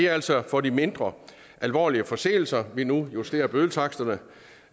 altså for de mindre alvorlige forseelser at vi nu justerer bødetaksterne